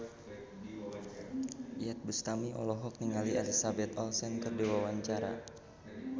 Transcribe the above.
Iyeth Bustami olohok ningali Elizabeth Olsen keur diwawancara